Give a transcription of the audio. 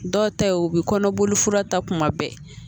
Dɔw ta ye u bi kɔnɔboli fura ta kuma bɛɛ